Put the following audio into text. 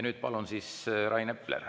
Nüüd palun, Rain Epler!